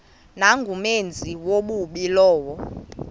nangumenzi wobubi lowo